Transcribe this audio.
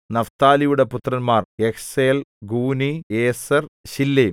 നഫ്താലിയുടെ പുത്രന്മാർ യഹ്സേൽ ഗൂനി യേസെർ ശില്ലേം